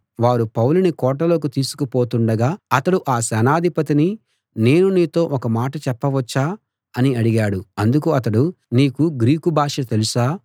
వారు పౌలుని కోటలోకి తీసుకు పోతుండగా అతడు ఆ సేనాధిపతిని నేను నీతో ఒక మాట చెప్పవచ్చా అని అడిగాడు అందుకు అతడు నీకు గ్రీకు భాష తెలుసా